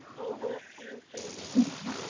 हो हो hello पल्लवी